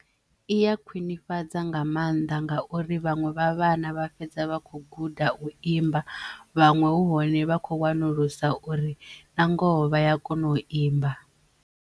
I ya khwinifhadza nga mannḓa ngauri vhaṅwe vha vhana vha fhedza vha kho guda u imba vhaṅwe hu hone vha kho wanulusa uri na ngoho vha ya kona u imba.